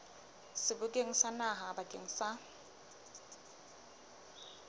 sebokeng sa naha bakeng sa